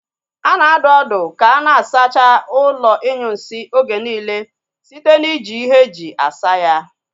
A na-adụ ọdụ ka a na-asacha ụlọ inyunsi oge niile site na ị ji ihe e ji asa ya